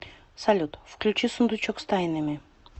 салют включи сундучок с тайнами